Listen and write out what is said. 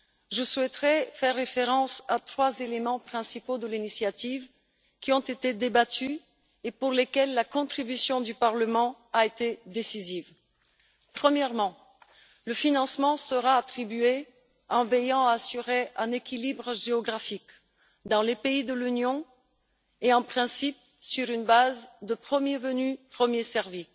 Je souhaiterais faire référence à trois éléments principaux de l'initiative, qui ont été débattus et pour lesquels la contribution du Parlement a été décisive. Premièrement, le financement sera attribué en veillant à assurer un équilibre géographique dans les pays de l'Union et, en principe, sur la base du premier arrivé, premier servi.